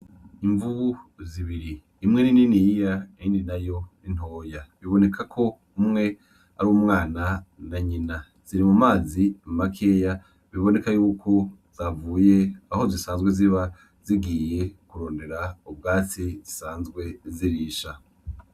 Imvubu zibiri. Imwe ni niniya iyindi nayo ni ntoya bibonekako umwe ar'umwana na nyina ziri mumazi makeya biboneka yuko zavuye Aho zisanzwe ziba zigiye kurondera ubwatsi zisanzwe zirisha.